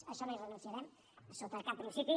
a això no hi renunciarem sota cap principi